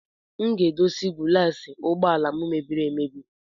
Aga m edozi gulas ụgbọala m mebiri emebi.